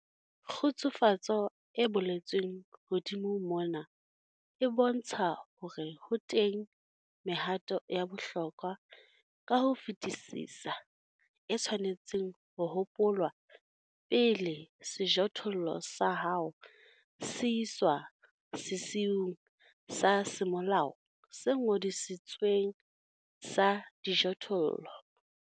Kgutsufatso e boletsweng hodimo mona e bontsha hore ho teng mehato ya bohlokwa ka ho fetisisa e tshwanetseng ho hopolwa pele sejothollo sa hao se iswa sesiung sa semolao se ngodisitsweng sa dijothollo.